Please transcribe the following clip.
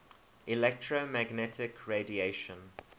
electromagnetic radiation